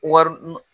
Wari